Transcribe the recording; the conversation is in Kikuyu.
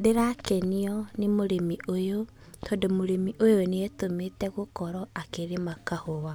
Ndĩrakenio nĩ mũrĩmi ũyũ, tondũ mũrĩmi ũyũ nĩetũmĩte gũkorwo akĩrĩma kahũa.